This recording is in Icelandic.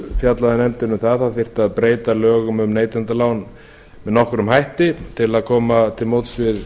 fjallaði nefndin um að það þyrfti að breyta lögum um neytendalán með nokkrum hætti til að koma til móts við